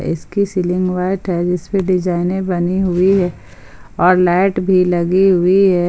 इसकी ceiling white है जिस पे डिजाईने बनीं हुई हैं और लाइट भी लगी हुई है।